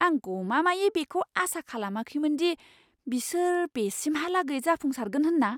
आं गमामायै बेखौ आसा खालामाखैमोन दि बिसोर बेसिमहालागै जाफुंसारगोन होन्ना!